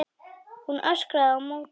Hún öskrar á móti.